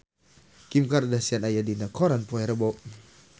Kim Kardashian aya dina koran poe Rebo